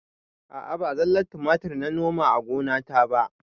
A'a ba zallar tumatir na noma a gonata ba